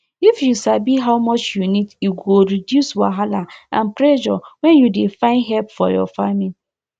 if you sabi how much you need e go reduce wahala and pressure when you dey find help for your farming